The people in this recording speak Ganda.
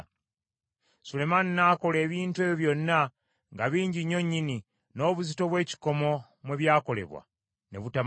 Sulemaani n’akola ebintu ebyo byonna nga bingi nnyo nnyini, n’obuzito bw’ekikomo mwe byakolebwa ne butamanyibwa.